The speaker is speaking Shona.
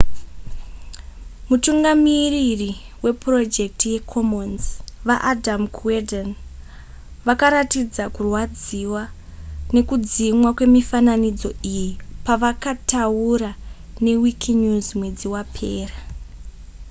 mutungamiriri wepurojekiti yecommons vaadam cuerden vakaratidza kurwadziwa nekudzimwa kwemifananidzo iyi pavakataura newikinews mwedzi wapera